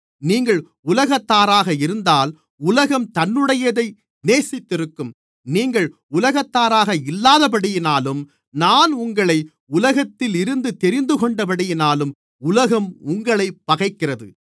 நீங்கள் உலகத்தாராக இருந்தால் உலகம் தன்னுடையதை நேசித்திருக்கும் நீங்கள் உலகத்தாராக இல்லாதபடியினாலும் நான் உங்களை உலகத்திலிருந்து தெரிந்துகொண்டபடியினாலும் உலகம் உங்களைப் பகைக்கிறது